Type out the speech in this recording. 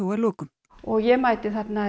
að lokum og ég mæti þarna